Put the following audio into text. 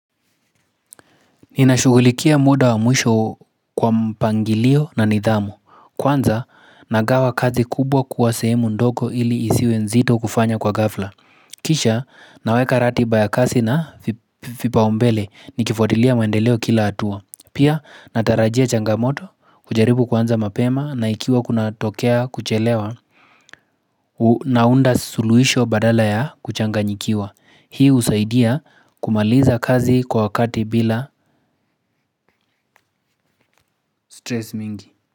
Ninashugulikia muda wa muisho kwa mpangilio na nidhamu. Kwanza, nagawa kazi kubwa kuwa sehemu ndoko ili isiwe nzito kufanya kwa gafla. Kisha, naweka ratiba ya kasi na vipaombele ni kifuatilia maendeleo kila atua. Pia, natarajia changamoto, ujaribu kwanza mapema na ikiwa kuna tokea kuchelewa, naunda suluisho badala ya kuchanganyikiwa. Hii usaidia kumaliza kazi kwa wakati bila stress mingi.